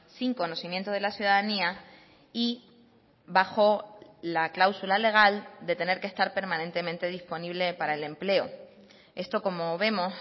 sin conocimiento de la ciudadanía y bajo la cláusula legal de tener que estar permanentemente disponible para el empleo esto como vemos